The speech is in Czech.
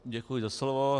Děkuji za slovo.